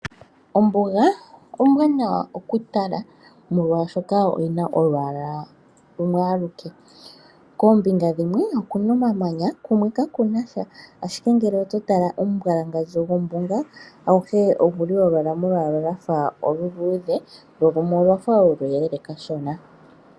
Ombuga ombwaanawa oku tala molwaashoka oyina olwaala lumwe aluke. Koombinga dhimwe okuna omamanya ko kumwe kakunashaashike ngele oto tala omumbwalangandjo gombuga aguhe oguli owala molwaala lwa fa oluluudhe lolumwe olwafa oluyelele kashona.